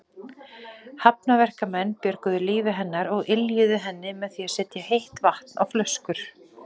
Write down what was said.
Hafnarverkamenn björguðu lífi hennar og yljuðu henni með því að setja heitt vatn á flöskur.